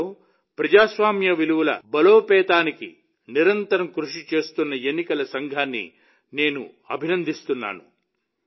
దేశంలో ప్రజాస్వామ్య విలువల బలోపేతానికి నిరంతరం కృషి చేస్తున్న ఎన్నికల సంఘాన్ని నేను అభినందిస్తున్నాను